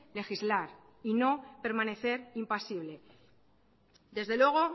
legislar y no permanecer impasible desde luego